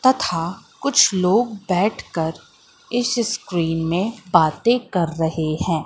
तथा कुछ लोग बैठकर इस स्क्रिन में बातें कर रहे है।